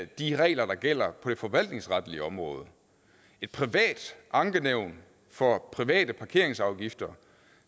de regler der gælder på det forvaltningsretlige område et privat ankenævn for private parkeringsafgifter